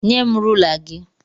Nyem rula gị!